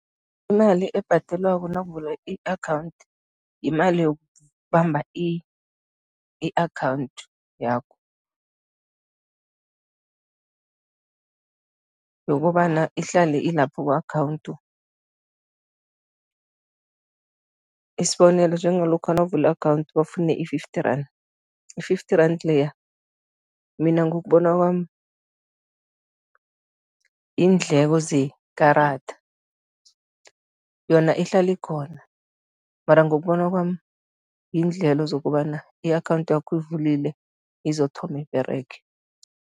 Imali ebhadalwako nawuvula i-akhawundi, yimali yokubamba i-akhawundi yakho, yokobana ihlale ilapho ku-akhawundi, isibonelo, njengalokha nawuvula i-akhawundi bafuna i-fifty rand. I-fity rand leya, mina ngokubona kwami, yiindleko zekarada, yona ihlala ikhona mara ngokubona kwami, yiindlelo zokobana i-akhawundi yakho uyivulile, izothoma iberege.